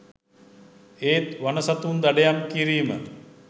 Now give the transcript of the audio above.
ඒත් වන සතුන් දඩයම් කිරීම